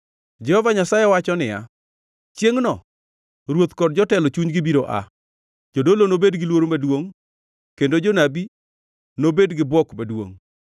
Jehova Nyasaye wacho niya, “Chiengʼno ruoth kod jotelo chunygi biro aa, jodolo nobed gi luoro maduongʼ, kendo jonabi nobed gi bwok maduongʼ.”